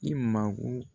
I mago